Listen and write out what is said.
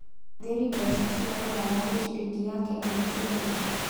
thĩri mbeca cia rũraya gwĩ ciringi ya Kenya nĩ cigana